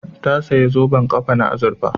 Ta saya zoben ƙafa na azurfa